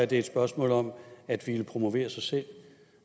det er et spørgsmål om at ville promovere sig selv